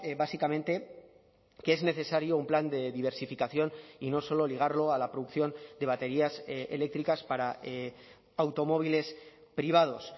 básicamente que es necesario un plan de diversificación y no solo ligarlo a la producción de baterías eléctricas para automóviles privados